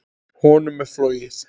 Honum er flogið.